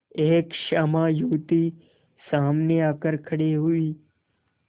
एक श्यामा युवती सामने आकर खड़ी हुई